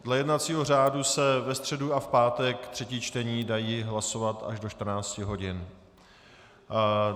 Dle jednacího řádu se ve středu a v pátek třetí čtení dají hlasovat až do 14 hodin.